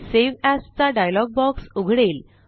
save as चा dialog box उघडेल